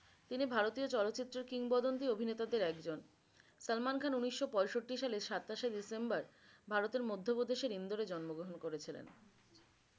তিনি ভারতীয় চলচ্চিত্রের কিংবদন্তি অভিনেতাদের একজন। সালমান খান উনিশশ পঁয়ষট্রি সালে সাতাশেই ডিসেম্বর ভারতের মধ্যে প্রদেশের ইন্দোর এ জন্মগ্রহন করেছিলেন।